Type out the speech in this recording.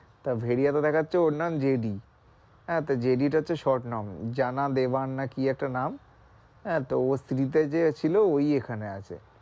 তা ভেরিয়া তে দেখাচ্ছে ওর নাম জেডি আহ তা জেডি টা হচ্ছে short নাম জানা লেবান না কি একটা নাম আহ তো ওর series এ যে ছিল ওই এখানে আছে।